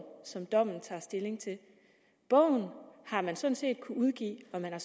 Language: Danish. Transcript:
som dommen tager stilling til bogen har man sådan set kunnet udgive og man har